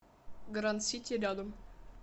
гранд сити рядом